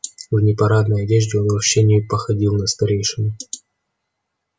в непарадной одежде он вообще не походил на старейшину